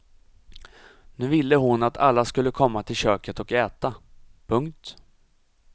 Nu ville hon att alla skulle komma till köket och äta. punkt